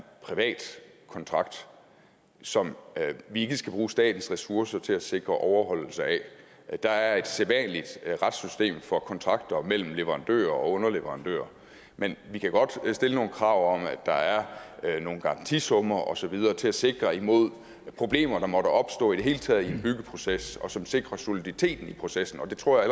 privat kontrakt som vi ikke skal bruge statens ressourcer til at sikre overholdelse af der er et sædvanligt retssystem for kontrakter mellem leverandører og underleverandører men vi kan godt stille nogle krav om at der er nogle garantisummer og så videre til at sikre imod problemer der måtte opstå i det hele taget i en byggeproces og som sikrer soliditeten i processen og det tror